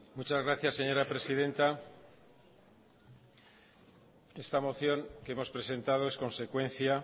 muchas gracias señora presidenta esta moción que hemos presentado es consecuencia